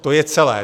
To je celé.